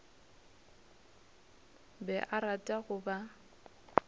be a rata go ba